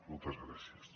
moltes gràcies